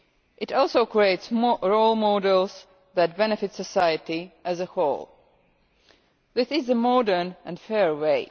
It also creates more role models that benefit society as a whole. This is a modern and fair way.